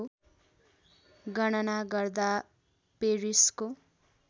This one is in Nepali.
गणना गर्दा पेरिसको